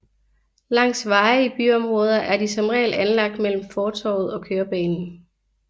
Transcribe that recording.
Langs veje i byområder er de som regel anlagt mellem fortovet og kørebanen